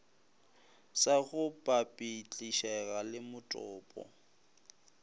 sa go papetlišega le motopo